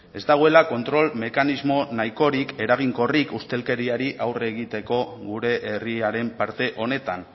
ez dagoela kontrol mekanismo nahikorik eraginkorrik ustelkeriari aurre egiteko gure herriaren parte honetan